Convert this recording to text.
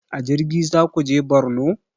A jirgi zaku je borno?